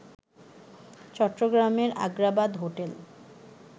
চট্টগ্রামের আগ্রাবাদ হোটেল